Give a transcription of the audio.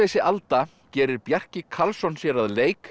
alda gerir Bjarki Karlsson sér að leik